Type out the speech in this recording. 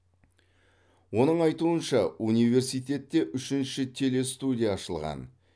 оның айтуынша университетте үшінші телестудия ашылған